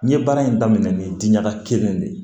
N ye baara in daminɛ ni diɲaga kelen de ye